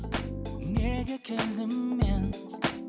неге келдім мен